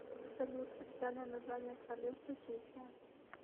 салют официальное название королевство чехия